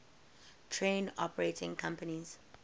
train operating companies